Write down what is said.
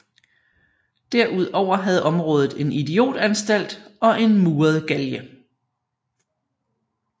Derudover havde området en idiotanstalt og en muret galge